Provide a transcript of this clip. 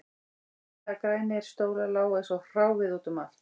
Beyglaðir grænir stólar lágu eins og hráviði út um allt